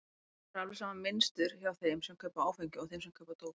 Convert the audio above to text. Það er alveg sama mynstur hjá þeim sem kaupa áfengi og þeim sem kaupa dóp.